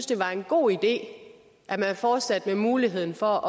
det var en god idé at man fortsatte muligheden for